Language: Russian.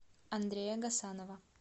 андрея гасанова